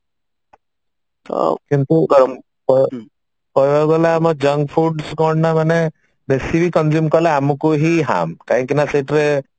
ତ କିନ୍ତୁ ଆଁ କହିବାକୁ ଗଲେ ଆମ junk foods କଣ ନା ମାନେ ବେଶୀ ବି consume କଲେ ଆମକୁ ହିଁ harm କାହିଁକି ନା